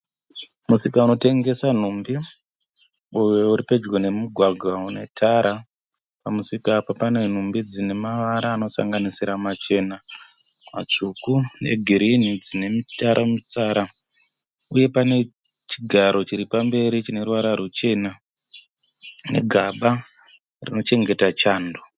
Musika unotengesa nhumbi uyo uri pedyo nemugwagwa une tara pamusika apa pane nhumbi dzine mavara anosanganisira machena, matsvuku negirini dzine mutsara mutsara uye pane chigaro chiri pamberi chine ruvara ruchena negaba rinochengeta chando.